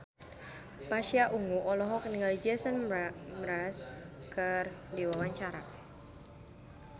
Pasha Ungu olohok ningali Jason Mraz keur diwawancara